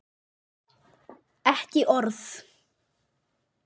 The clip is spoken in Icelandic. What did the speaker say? Ekki orð.